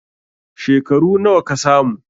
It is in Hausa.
Shekaru nawa ka samu?